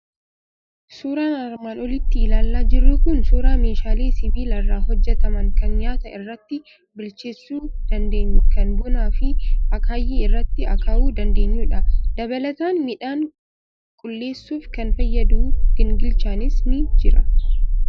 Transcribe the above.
Suuraan armaan olitti ilaalaa jirru kun suuraa meeshaalee sibiila irraa hojjetaman, kan nyaata irratti bilcheessuu dandeenyu, kan bunaa fi akaayii irratti akaawuu dandeenyudha. Dabalataan, midhaan qulleessuuf kan fayyadu gingilchaanis ni jira.